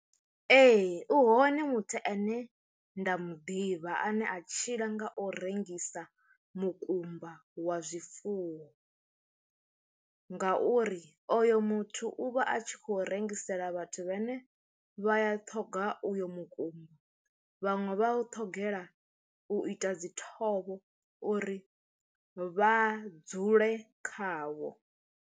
Ee u hone muthu ane nda muḓivha ane a tshila nga u rengisa mukumba wa zwifuwo, ngauri oyo muthu u vha a tshi khou rengisela vhathu vhane vhaya ṱhoga uyo mukumba vhaṅwe vha u ṱhogela u ita dzi thovho uri vha dzule khawo.